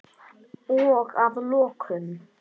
Og að lokum.